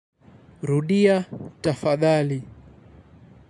Rudia tafadhali.